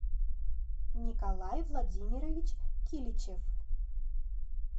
николай владимирович киличев